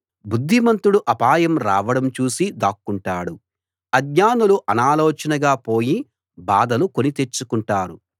బుద్ధిమంతుడు అపాయం రావడం చూసి దాక్కుంటాడు ఆజ్ఞానులు అనాలోచనగా పోయి బాధలు కొని తెచ్చుకుంటారు